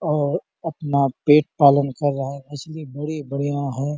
और अपना पेट पालन कर रहा हैं असली बढियां हैं।